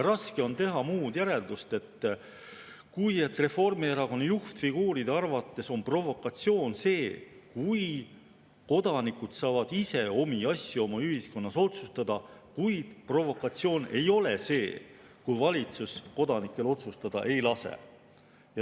Raske on teha muud järeldust, kui et Reformierakonna juhtfiguuride arvates on provokatsioon see, kui kodanikud saavad ise omi asju oma ühiskonnas otsustada, kuid provokatsioon ei ole see, kui valitsus kodanikel otsustada ei lase.